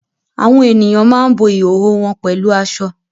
Àwọn ènìyàn máa ń bo ìhòhò wọn pẹ̀lú aṣọ